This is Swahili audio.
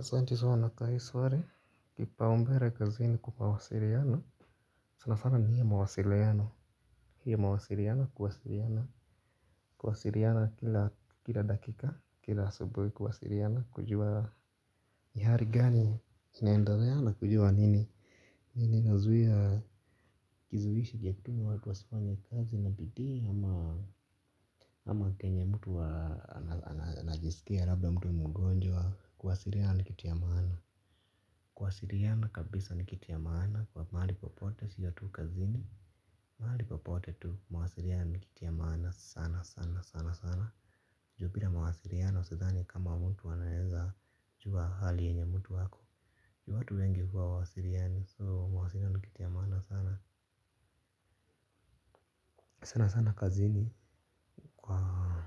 Asante sana kwa hii swali kipaumbele kazini kwa mawasiliano. Sana sana ni hii mawasiliano. Hii mawasiliana kuwasiliana. Kuwasiliana kila dakika kila asubuhi kuwasiliana kujua. Ni hali gani inaendeleana kujua nini. Nini inazuia kizuhishi yatuma watu wasifanye kazi na bidii ama ama kenye mtu anajisikia labda mtu mgonjwa kuwasiliana ni kitu ya maana. Kuwasiliana kabisa ni kitu ya maana kwa mahali popote sio tu kazini. Mahali popote tu mawasiliano ni kitu ya maana sana sana sana sana juu bila mawasiliano sidhani kama mtu anaweza jua hali yenye mtu ako. Juu watu wengi huwa wa wasiliani so mawasiliano ni kitu ya maana sana. Sana sana kazini kwa